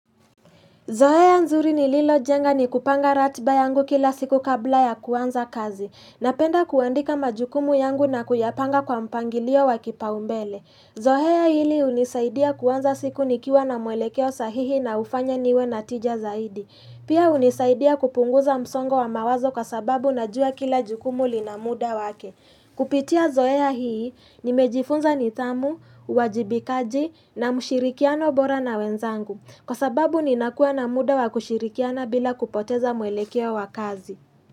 Zoea nzuri nililo jenga ni kupanga ratiba yangu kila siku kabla ya kuanza kazi. Napenda kuandika majukumu yangu na kuyapanga kwa mpangilio wa kipaumbele. Zohea hili hunisaidia kuanza siku nikiwa na mwelekeo sahihi na hufanya niwe na tija zaidi. Pia hunisaidia kupunguza msongo wa mawazo kwa sababu na jua kila jukumu linamuda wake. Kupitia zoea hii ni mejifunza nithamu, uwajibikaji na mushirikiano bora na wenzangu. Kwa sababu ni nakuwa na muda wakushirikiana bila kupoteza mwelekeo wakazi.